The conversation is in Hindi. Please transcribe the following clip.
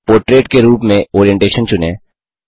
पोर्ट्रेट के रूप में ओरिएंटेशन चुनें